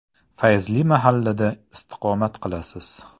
Fayzli mahallada istiqomat qilasiz .